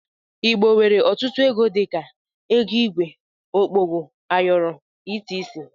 Igbo nwere ọtutu ego dika, ego igwe, okpogho, ayọrọ etc.